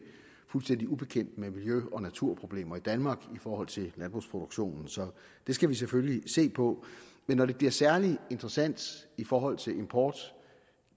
fuldstændig ubekendte med miljø og naturproblemer i danmark i forhold til landbrugsproduktionen så det skal vi selvfølgelig se på når det bliver særlig interessant i forhold til import